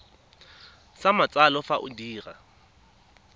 sa matsalo fa o dira